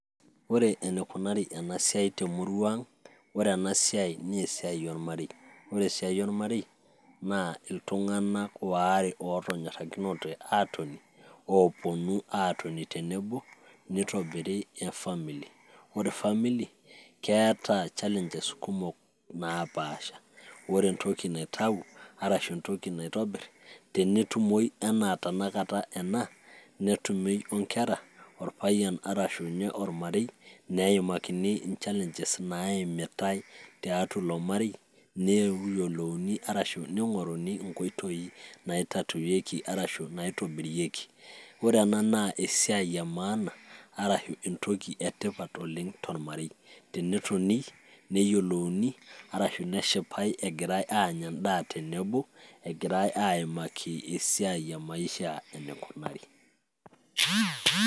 ore enikunari enasiai temurua ang ore ena siai naa esiai ormarei ore esiai ormarei naa iltung'anak waare otonyorrakinote atoni oponu atoni tenebo nitobiri e family ore family keeta challenges kumok napaasha ore entoki naitau arashu entoki naitobirr tenetumoyu anaa tenakata ena netumoi onkera orpayian arashu ninye ormarei neimakini in challenges naimitae tiatua ilo marei neyiolouni arashu ning'oruni inkoitoi naitatuwieki arashu natobirieki ore ena naa esiai e maana arashu entoki etipat oleng tormarei tenetoni neyiolouni arashu neshipae egirae anya endaa tenebo egirae aimaki esiai e maisha enikunari.